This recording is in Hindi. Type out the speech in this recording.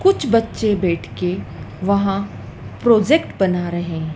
कुछ बच्चे बैठ के वहां प्रोजेक्ट बना रहे है।